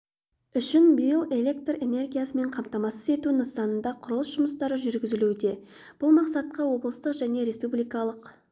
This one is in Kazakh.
үшін биыл электр энергиясымен қамтамасыз ету нысанында құрылыс жұмыстары жүргізілуде бұл мақсатқа облыстық және республикалық